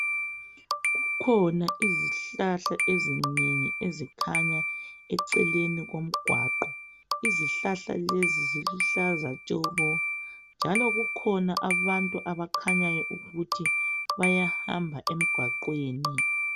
kukhona izihlahla ezinengi ezikhanya ecelenikomgwaqo izihlahla lezi ziluhlaza tshokonjalo kukhona abantu abakhanyaukuthi bayahamba emgwaqweni